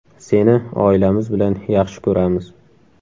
Seni oilamiz bilan yaxshi ko‘ramiz!